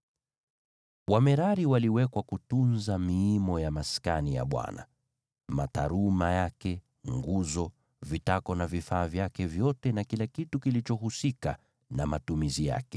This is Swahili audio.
Wamerari waliwekwa kutunza miimo ya Maskani, mataruma yake, nguzo, vitako na vifaa vyake vyote na kila kitu kilichohusika na matumizi yake,